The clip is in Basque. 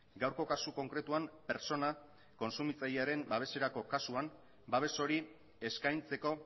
gaurko kasu konkretuan pertsona kontsumitzailearen babeserako kasuan babes hori eskaintzeko